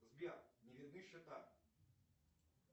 сбер не видны счета